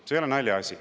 See ei ole naljaasi.